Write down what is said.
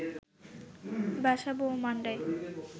বাসাবো ও মান্ডায়